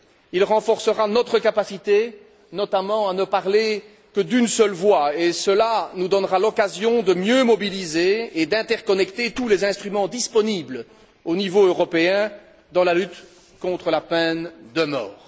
Il renforcera notre capacité notamment à ne parler que d'une seule voix, ce qui nous donnera l'occasion de mieux mobiliser et d'interconnecter tous les instruments disponibles au niveau européen dans la lutte contre la peine de mort.